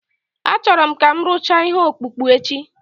Achọrọ m ka ị rụchaa ihe ọkpụkpụ echi